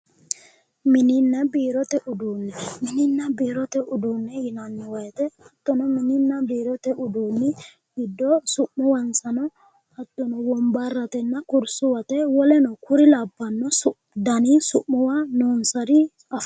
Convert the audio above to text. Mininna biirote uduunne mininna biirote uduunne yinanni woyte dana mininna biirote uduunni woyte su'muwansano hattono wombarratenna kursuwate woleno kuri labbanno dani su'muwari afantanno